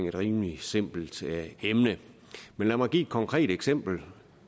et rimelig simpelt emne lad mig give et konkret eksempel